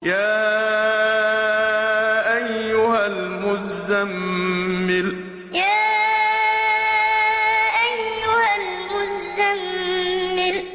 يَا أَيُّهَا الْمُزَّمِّلُ يَا أَيُّهَا الْمُزَّمِّلُ